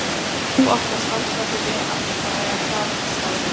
Þú átt að standa þig vel alla daga, það er starfið þitt.